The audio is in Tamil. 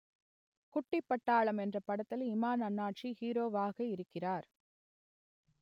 குட்டிப் பட்டாளம் என்ற படத்தில் இமான் அண்ணாச்சி ஹீரோவாகியிருக்கிறார்